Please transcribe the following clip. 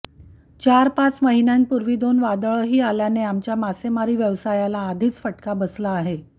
चारपाच महिन्यांपूर्वी दोन वादळंही आल्यानं आमच्या मासेमारी व्यवसायाला आधीच फटका बसला आहे